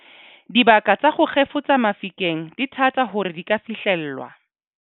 Dibaka tsa ho kgefutsa mafikeng di thata hore di ka fihlellwa.